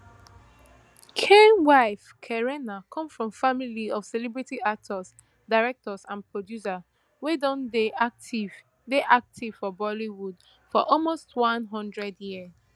khan wife kareena come from family of celebrity actors directors and producers wey don dey active dey active for bollywood for almost one hundred year